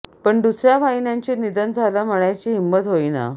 पण दुसऱ्या वाहिन्यांची निधन झालं म्हणायची हिम्मत होईना